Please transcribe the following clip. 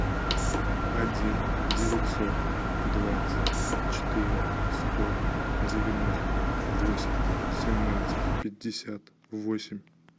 один девятьсот двадцать четыре сто девяносто восемь семнадцать пятьдесят восемь